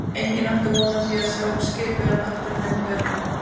Enginn átti von á því að sjá skipverjana aftur nema Björgvin.